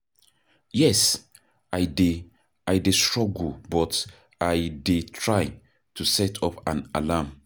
yes, i dey i dey struggle but i dey try to set up an alarm.